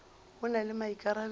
o na le maikarabelo a